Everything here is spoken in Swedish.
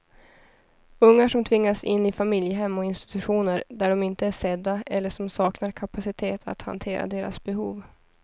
Ungar som tvingats in i familjehem och institutioner där de inte är sedda eller som saknar kapacitet att hantera deras behov.